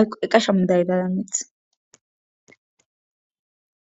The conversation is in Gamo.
yqeqashamu daydanameth